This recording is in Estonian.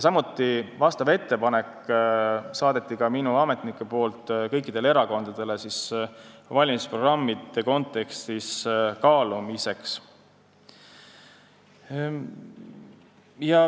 Vastava ettepaneku saatsid minu ametnikud ka kõikidele erakondadele valimisprogrammi kontekstis kaalumiseks.